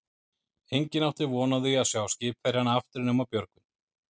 Enginn átti von á því að sjá skipverjana aftur nema Björgvin.